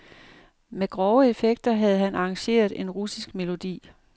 Med grove effekter havde han arrangeret en russisk melodi.